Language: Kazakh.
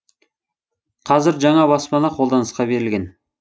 қазір жаңа баспана қолданысқа берілген